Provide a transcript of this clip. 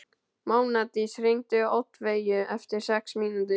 Mánadís, hringdu í Oddveigu eftir sex mínútur.